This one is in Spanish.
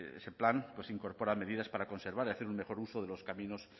ese plan incorpora medidas para conservar y hacer un mejor uso de los caminos